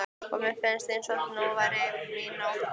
og mér fannst eins og nú væri mín nótt komin.